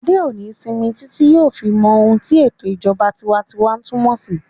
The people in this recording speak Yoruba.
Adé ò ní sinmi títí yóò fi mọ ohun tí ètò ìṣèjọba tinwatinwa túnmọ̀ sí